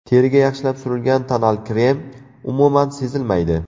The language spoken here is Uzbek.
Teriga yaxshilab surilgan tonal krem umuman sezilmaydi.